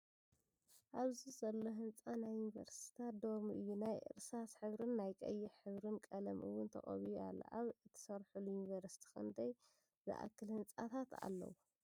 ኣብዚ ዘሎ ህንፃ ናይ ዩኒቨርስትታት ዶርሞ እዩ ናይ ርሳስ ሕብሪን ናይ ቀይሕ ሕብሪን ቀለም ውን ተቀቢኡ ኣሎ። ኣብ ትሰርሕሉ ዩኒቨርስቲ ክንዳይ ዓ ዘኣክሉ ህንፃታት ኣለው?